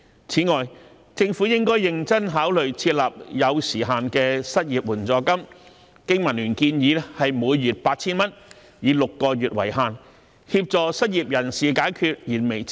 此外，政府亦應該認真考慮設立有時限的失業援助金，經民聯建議金額為每月 8,000 元，以6個月為限，協助失業人士解決燃眉之急。